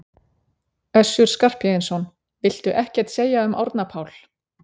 Össur Skarphéðinsson: Viltu ekkert segja um Árna Pál?